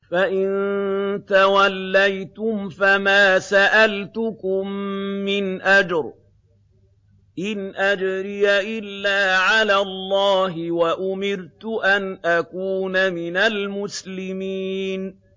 فَإِن تَوَلَّيْتُمْ فَمَا سَأَلْتُكُم مِّنْ أَجْرٍ ۖ إِنْ أَجْرِيَ إِلَّا عَلَى اللَّهِ ۖ وَأُمِرْتُ أَنْ أَكُونَ مِنَ الْمُسْلِمِينَ